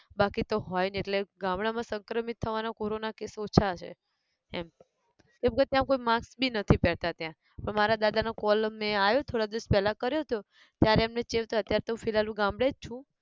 બાકી તો હોય ને એટલે ગામડાં માં સંક્રમિત થવાનો corona case ઓછા હે, એમ, કેમકે ત્યાં કોઈ mask બી નથી પહેરતાં ત્યાં પર મારા દાદા નો call અમને આયો થોડા દિવસ પહેલા કર્યો હતો, ત્યારે એમને ચેવતા, ત્યાર તો હું ફિલહાલ હું ગામડે જ છું.